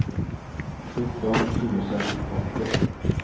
sjutton tusen åttio